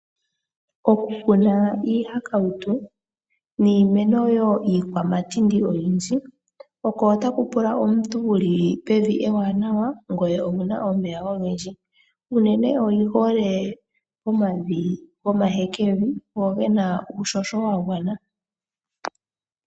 Okukuna iihakauto niimeno woo iikwamatindi oyindji. Unene oyihole omavi gomahekevi go gena uuhoho wagwana.